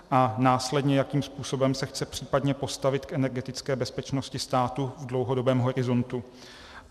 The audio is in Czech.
3. následně jakým způsobem se chce případně postavit k energetické bezpečnosti státu v dlouhodobém horizontu;